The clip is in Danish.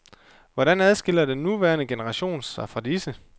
Hvordan adskiller den nuværende generation sig fra disse?